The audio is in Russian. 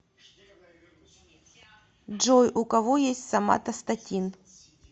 джой у кого есть соматостатин